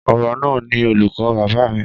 Ọba náà ni olùkọ́ bàbá mi.